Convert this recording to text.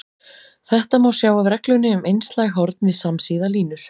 Þetta má sjá af reglunni um einslæg horn við samsíða línur.